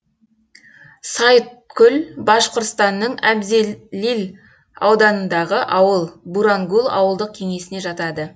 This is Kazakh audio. сайыткул башқұртстанның әбзелил ауданындағы ауыл бурангул ауылдық кеңесіне жатады